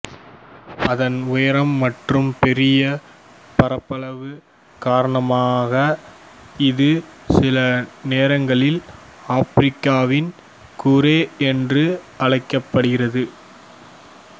அதன் உயரம் மற்றும் பெரிய பரப்பளவு காரணமாக இது சில நேரங்களில் ஆப்பிரிக்காவின் கூரை என்று அழைக்கப்படுகிறது